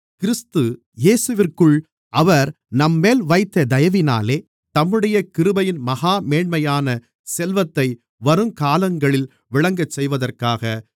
கிறிஸ்து இயேசுவிற்குள் அவர் நம்மேல் வைத்த தயவினாலே தம்முடைய கிருபையின் மகா மேன்மையான செல்வத்தை வருங்காலங்களில் விளங்கச்செய்வதற்காக